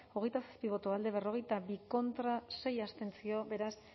hogeita zazpi boto alde berrogeita bi contra sei abstentzio beraz